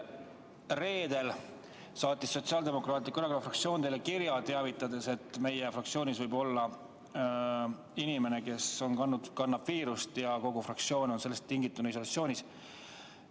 Reedel saatis Sotsiaaldemokraatliku Erakonna fraktsioon teile kirja, teavitades, et meie fraktsioonis võib olla inimene, kes kannab viirust, ja kogu fraktsioon on sellest tingituna isolatsioonis.